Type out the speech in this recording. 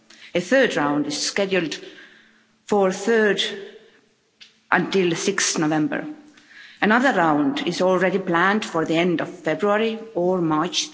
A third round is scheduled for 3 until 6 November, another round is already planned for the end of February, or March